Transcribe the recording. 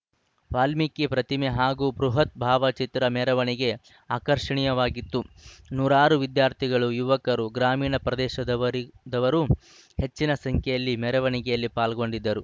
ವಾಲ್ಮೀಕಿ ಪ್ರತಿಮೆ ಹಾಗೂ ಬೃಹತ್‌ ಭಾವಚಿತ್ರ ಮೆರವಣಿಗೆಆಕರ್ಷಣೀಯವಾಗಿತ್ತು ನೂರಾರು ವಿದ್ಯಾರ್ಥಿಗಳು ಯುವಕರು ಗ್ರಾಮೀಣ ಪ್ರದೇಶದವರಿ ದವರು ಹೆಚ್ಚಿನ ಸಂಖ್ಯೆಯಲ್ಲಿ ಮೆರವಣಿಗೆಯಲ್ಲಿ ಪಾಲ್ಗೊಂಡಿದ್ದರು